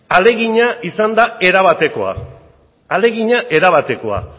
ahalegina izan da erabateko ahalegina erabatekoa